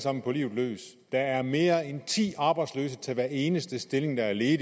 sammen på livet løs der er mere end ti arbejdsløse til hver eneste stilling der er ledig